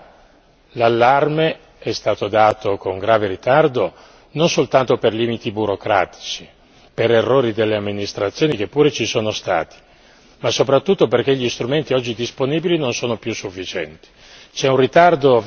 In queste realtà, l'allarme è stato dato con grave ritardo non soltanto per limiti burocratici, per errori delle amministrazioni che pure ci sono stati, ma soprattutto perché gli strumenti oggi disponibili non sono più sufficienti.